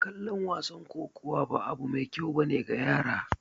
Kallon wasan kokowa ba abu mai kyau ba ne ga yara